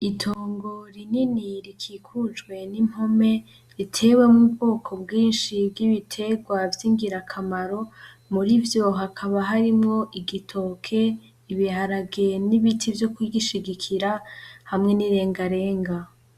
Itongo rinini rikikujwe n'impome ritewemwo ubwoko bwinshi bw'ibitegwa vy'ingirakamaro, muri vyo hakaba harimwo igitoke, ibiharage n'ibiti vyo ku gishigikira hamwe n'irengarenga.